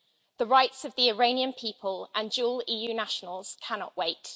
The rights of the Iranian people and dual EU nationals cannot wait.